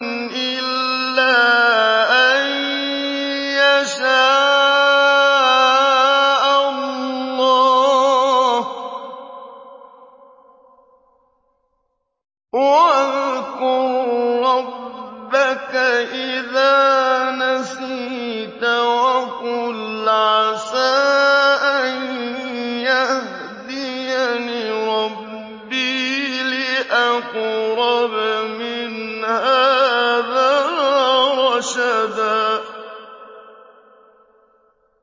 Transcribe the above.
إِلَّا أَن يَشَاءَ اللَّهُ ۚ وَاذْكُر رَّبَّكَ إِذَا نَسِيتَ وَقُلْ عَسَىٰ أَن يَهْدِيَنِ رَبِّي لِأَقْرَبَ مِنْ هَٰذَا رَشَدًا